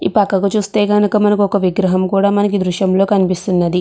ఈ పక్కకు చూస్తే కనుక మనకి ఒక విగ్రహం కూడా మనకీ దృశ్యంలో కనిపిస్తున్నది.